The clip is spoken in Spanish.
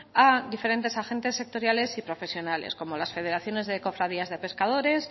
a diferentes agentes sectoriales y profesionales como las federación de cofradías de pescadores